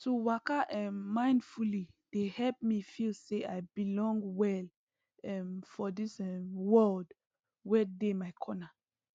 to waka um mindfully dey help me feel say i belong well um for this um world wey dey my corner